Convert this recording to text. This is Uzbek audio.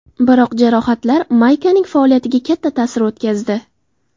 Biroq jarohatlar Maykaning faoliyatiga katta ta’sir o‘tkazdi.